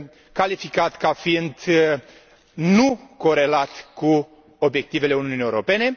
calificat ca fiind necorelat cu obiectivele Uniunii Europene.